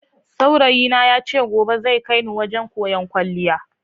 Saurayi na ya ce gobe zai kai ni wajen koyan kwaliya.